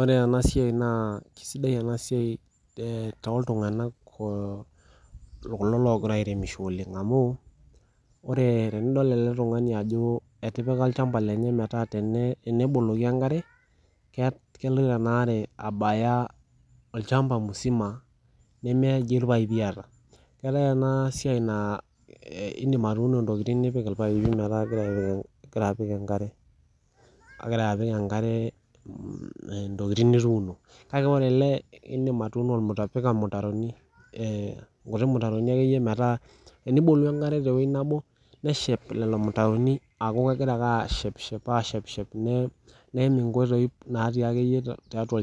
Ore ena siaai naa sidai ena siaai tooltungana, kulo Ogira airemisho oleng amuu, ore tenidol ele tungani ajo etipika olshamba lenye meetaa teneboloki enkare ketumoki abaya olshamba mzima neme eji irpaepi eeeta , keetae ena siaai naa idim atuuno ntokitin nipik irpaepi metaa kegira apik enkare, kegira apik enkare ntokitin nituno, kake ore ele meitobira ilmutaroni ekeyie meeta tenibolu enkare te wueii nebo nelo aaku keshep ashep Shep neim inkoitoii neeku